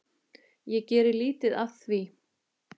Ég geri lítið af því.